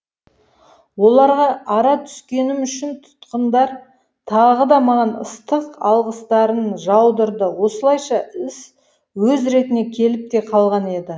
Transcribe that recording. оларға ара түскенім үшін тұтқындар тағы да маған ыстық алғыстарын жаудырды осылайша іс өз ретіне келіп те қалған еді